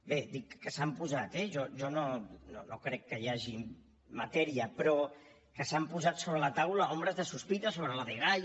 bé dic que s’han posat eh jo no crec que hi hagi matèria però que s’han posat sobre la taula ombres de sospita sobre la dgaia